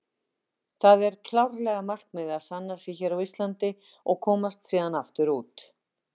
Það er klárlega markmiðið að sanna sig hér á Íslandi og komast síðan aftur út.